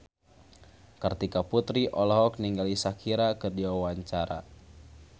Kartika Putri olohok ningali Shakira keur diwawancara